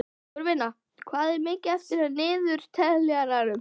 Sigurvina, hvað er mikið eftir af niðurteljaranum?